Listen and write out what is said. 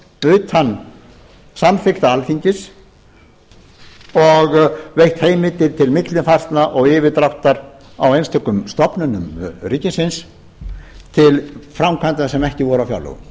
utan samþykktar alþingis og veitt heimildir til millifærslna og yfirdráttar á einstökum stofnunum ríkisins til framkvæmda sem ekki voru